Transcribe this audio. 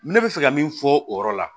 Ne bɛ fɛ ka min fɔ o yɔrɔ la